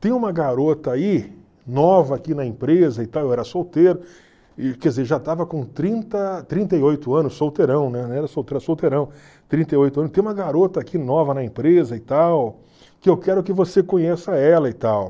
Tem uma garota aí, nova aqui na empresa e tal, eu era solteiro, quer dizer, já estava com trinta trinta e oito anos, solteirão, né, não era solteiro, era solteirão, trinta e oito anos, tem uma garota aqui nova na empresa e tal, que eu quero que você conheça ela e tal.